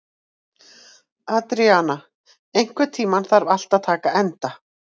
Adríana, einhvern tímann þarf allt að taka enda.